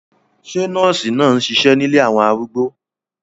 Ṣé nọ́ọ̀sì náà ń ṣiṣẹ́ nílé àwọn arúgbó?